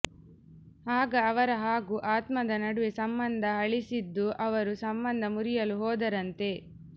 ಆಗ ಅವರ ಹಾಗೂ ಆತ್ಮದ ನಡುವೆ ಸಂಬಂಧ ಹಳಿಸಿದ್ದು ಅವರು ಸಂಬಂಧ ಮುರಿಯಲು ಹೋದರಂತೆ